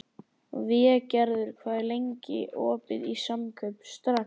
Végerður, hvað er lengi opið í Samkaup Strax?